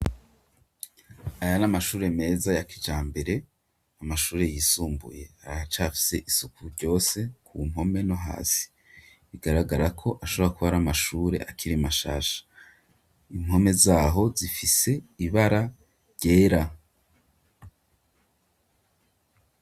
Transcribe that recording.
Aya ni amashure meza ya kijambere, amashure yisumbuye aracafise isuku ryose ku mpome no hasi. Bigaragara ko ashobora kuba ari amashure akiri mashasha. Impome zaho zifise ibara ryera.